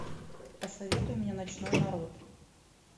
посоветуй мне ночной народ